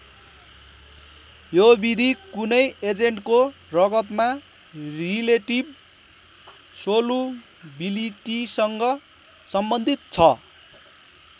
यो विधि कुनै एजेन्टको रगतमा रिलेटिभ सोलुबिलिटीसँग सम्बन्धित छ।